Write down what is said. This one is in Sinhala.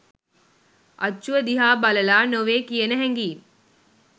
අච්චුව දිහා බලලා නොවේ කියන හැඟිම්